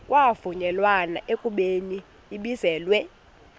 kwavunyelwana ekubeni ibizelwe